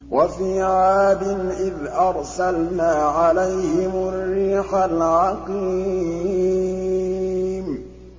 وَفِي عَادٍ إِذْ أَرْسَلْنَا عَلَيْهِمُ الرِّيحَ الْعَقِيمَ